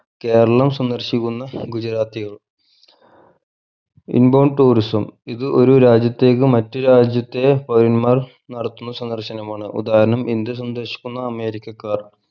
കേരളം സന്ദർശിക്കുന്ന ഗുജറാത്തികൾ inbound tourism ഇത് ഒരു രാജ്യത്തേക്ക് മറ്റു രാജ്യത്തെ പൗരന്മാർ നടത്തുന്ന സന്ദർശനമാണ് ഉദാഹരണം ഇന്ത്യ സന്ദർശിക്കുന്ന അമേരിക്കക്കാർ